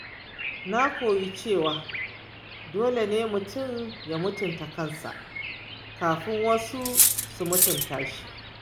Na koyi cewa dole ne mutum ya mutunta kansa kafin wasu su mutunta shi.